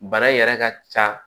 Bana in yɛrɛ ka ca